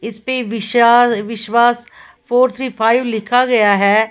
इसपे Vishal Vishwas four three five लिखा गया है।